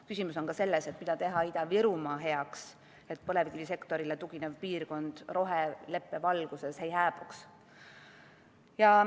Küsimus on ka selles, mida teha Ida-Virumaa heaks, et põlevkivisektorile tuginev piirkond roheleppe valguses ei hääbuks.